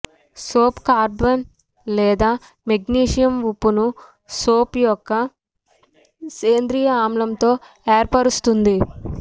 soap carbon లేదా magnesium ఉప్పును soap యొక్క సేంద్రియ ఆమ్లంతో ఏర్పరుస్తుంది